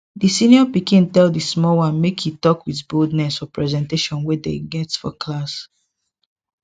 di senior pikin tell di small one make e talk with boldness for presentation wey dem go get for class